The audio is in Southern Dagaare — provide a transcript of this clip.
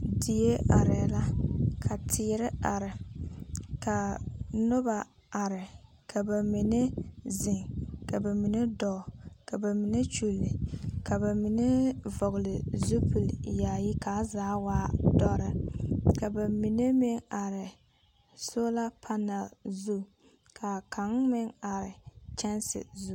Die areera, ka teere are, kaa noba are, ka ba mine zeŋ, ka ba mine dɔɔ, ka ba mine kyuli, ka ba mine vɔgle zupili yaayi kaa zaa waa dɔre. Ka ba mine meŋ are a sola panɛl zu. Kaa kaŋ meŋ are kyanse zu.